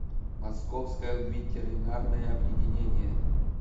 московское ветеринарное объединение